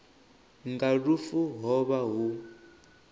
nga lufu ho vha hu